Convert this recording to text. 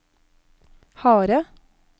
harde